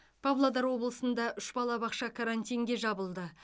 павлодар облысында үш балабақша карантинге жабылды